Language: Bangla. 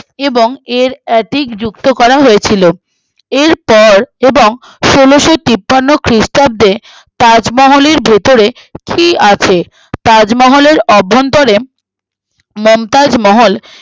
এবং এর এদিক যুক্ত করা হয়েছিল এরপর এবং ষোলোতিপ্পান্ন খ্রিস্টাব্দে তাজমহলের ভেতরে কি আছে তাজমহলের অভ্যন্তরে মমতাজ মহল